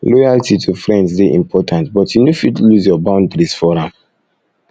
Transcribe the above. loyalty to friends dey important but you no fit lose your boundaries for am